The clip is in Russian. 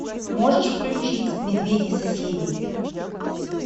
можешь включить медведи соседи